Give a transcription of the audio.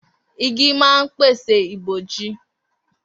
Igi ma ń pèsè ìbòji.